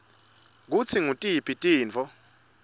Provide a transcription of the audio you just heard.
kutsi ngutiphi tintfo